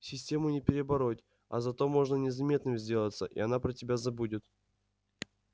систему не перебороть а зато можно незаметным сделаться и она про тебя забудет